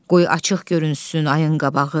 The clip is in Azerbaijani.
Qoy açıq görünsün ayın qabağı.